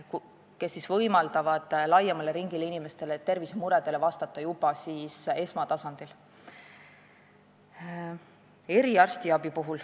Nemad loovad võimaluse vastata laiema ringi inimeste tervisemuredele juba esmatasandil.